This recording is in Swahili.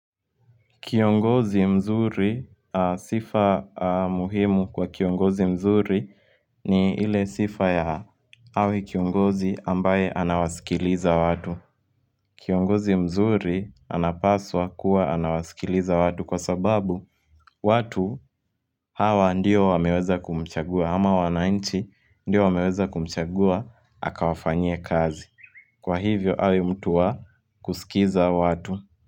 Kiongozi mzuri sifa muhimu kwa kiongozi mzuri ni ile sifa ya awe kiongozi ambaye anawasikiliza watu Kiongozi mzuri anapaswa kuwa anawasikiliza watu kwa sababu watu hawa ndio wameweza kumchagua ama wanainchi ndiyo wameweza kumchagua akawafanye kazi Kwa hivyo awe mtu wa kusikiza watu.